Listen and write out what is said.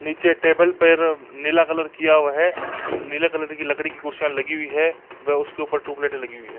नीचे टेबल पे नीला कलर किआ हुआ है। नीले कलर कि लकड़ी की खुरशिया लगी हुई हैं व उसके ऊपर टयूबलाइटे लगी हुई हैं।